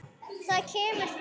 Það kemur fyrir.